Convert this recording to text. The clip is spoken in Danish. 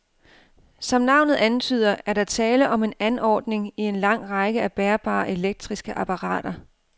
Som navnet antyder, er der tale om en anordning i en lang række af bærbare elektriske apparater.